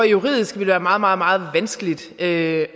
juridisk vil være meget meget meget vanskeligt at